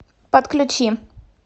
подключи